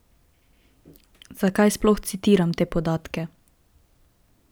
Zakaj sploh citiram te podatke?